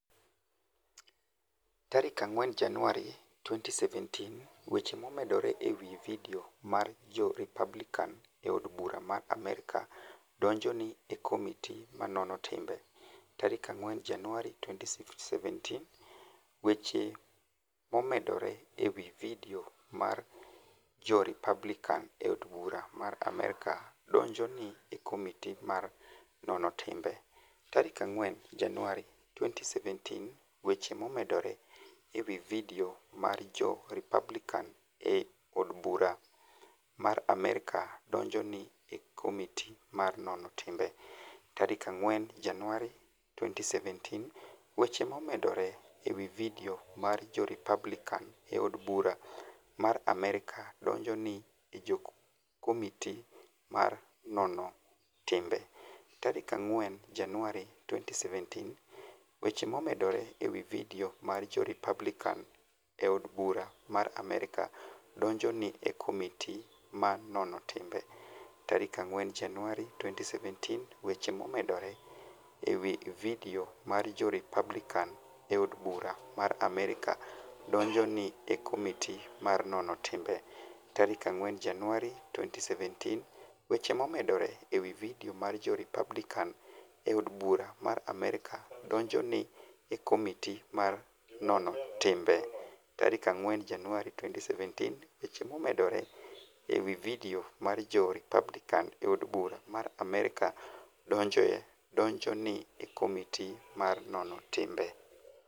4 Janiuar, 2017 weche momedore e wi vidio mar Jo-Republicani e Od Bura mar Amerka donijo ni e komiti ma nono timbe 4 Janiuar, 2017 weche momedore e wi vidio mar Jo-Republicani e Od Bura mar Amerka donijo ni e komiti ma nono timbe 4 Janiuar, 2017 weche momedore e wi vidio mar Jo-Republicani e Od Bura mar Amerka donijo ni e komiti ma nono timbe 4 Janiuar, 2017 weche momedore e wi vidio mar Jo-Republicani e Od Bura mar Amerka donijo ni e komiti ma nono timbe 4 Janiuar, 2017 weche momedore e wi vidio mar Jo-Republicani e Od Bura mar Amerka donijo ni e komiti ma nono timbe 4 Janiuar, 2017 weche momedore e wi vidio mar Jo-Republicani e Od Bura mar Amerka donijo ni e komiti ma nono timbe 4 Janiuar, 2017 weche momedore e wi vidio mar Jo-Republicani e Od Bura mar Amerka donijo ni e komiti ma nono timbe 4 Janiuar, 2017 weche momedore e wi vidio mar Jo-Republicani e Od Bura mar Amerka donijo donijo ni e komiti ma nono timbe